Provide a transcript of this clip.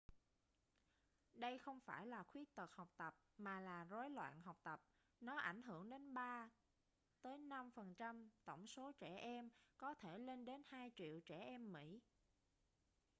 đây không phải là khuyết tật học tập mà là rối loạn học tập nó ảnh hưởng đến 3 tới 5% tổng số trẻ em có thể lên đến 2 triệu trẻ em mỹ